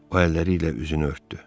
O əlləri ilə üzünü örtdü.